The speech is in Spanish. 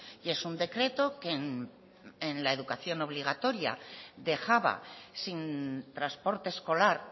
y es un decreto que en la educación obligatoria dejaba sin transporte escolar